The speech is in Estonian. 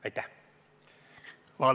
Aitäh!